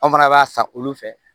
An fana b'a san olu fɛ